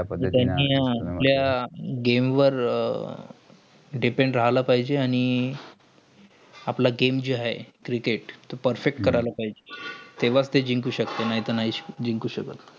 जा पद्धतींनी त्या game वर depend राहिला पायजेय. आणि आपला game जे आहे. cricket तो perfect करायला पायजेय तेंवाच जिंकू शकतेय. नाही तर नाही जिंकू शकतं.